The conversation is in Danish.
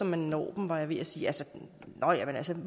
man når dem var jeg ved at sige altså